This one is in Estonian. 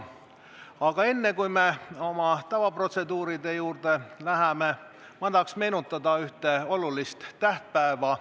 Aga enne, kui me oma tavaprotseduuride juurde läheme, tahaks ma meenutada ühte olulist tähtpäeva.